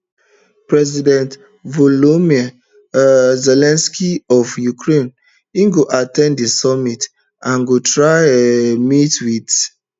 president volodymyr um zelensky of ukrainego at ten d di summit and go try um meet wit